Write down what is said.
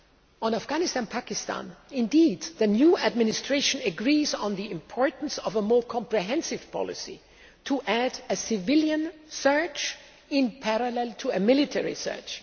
On Afghanistan and Pakistan the new Administration agrees on the importance of a more comprehensive policy to add a civilian surge in parallel to a military surge.